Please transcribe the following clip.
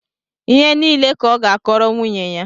Ihe niile ka ọ ga-akọọrọ nwunye ya